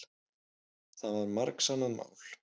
Það var margsannað mál.